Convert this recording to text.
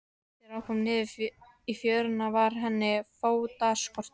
Þegar hún kom niður í fjöruna varð henni fótaskortur.